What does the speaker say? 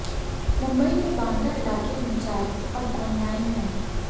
मुंबई के बांद्रा इलाके में चाय अब ऑनलाइन है